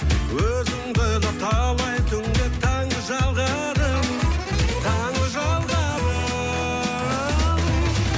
өзіңді ойлап талай түнде таңды жалғадым таңды жалғадым